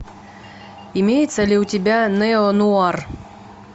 имеется ли у тебя неонуар